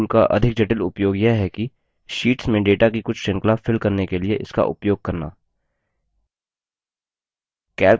fill tool का अधिक जटिल उपयोग यह है कि शीट्स में data की कुछ श्रृंखला fill करने के लिए इसका उपयोग करना